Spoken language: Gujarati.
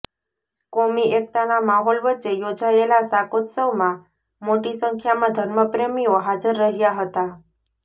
કોમી એકતાના માહોલ વચ્ચે યોજાયેલા શાકોત્સવમાં મોટી સંખ્યામાં ધર્મપ્રેમીઓ હાજર રહ્યા હતા